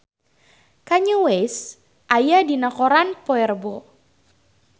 Kanye West aya dina koran poe Rebo